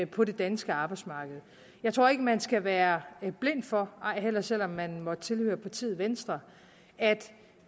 på det danske arbejdsmarked jeg tror ikke at man skal være blind for ej heller selv om man måtte tilhøre partiet venstre at